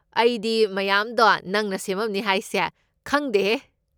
ꯑꯩꯗꯤ ꯃꯌꯥꯝꯗꯣ ꯅꯪꯅ ꯁꯦꯃꯝꯅꯤ ꯍꯥꯏꯁꯦ ꯈꯪꯗꯦꯍꯦ꯫